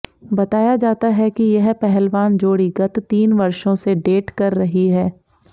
बताया जाता है कि यह पहलवान जोड़ी गत तीन वर्षों से डेट कर रही है